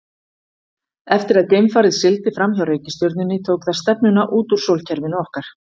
Eftir að geimfarið sigldi fram hjá reikistjörnunni tók það stefnuna út úr sólkerfinu okkar.